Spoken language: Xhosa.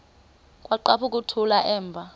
kwaqhaphuk uthuli evuma